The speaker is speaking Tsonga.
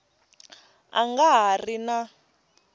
a nga ha ri na